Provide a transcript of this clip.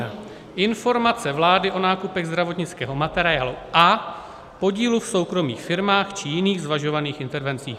Téma zní - Informace vlády o nákupech zdravotnického materiálu a podílu v soukromých firmách či jiných zvažovaných intervencích.